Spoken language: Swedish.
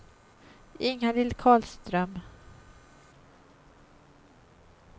Ingalill Karlström